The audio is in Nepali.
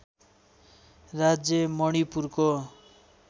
राज्य मणिपुरको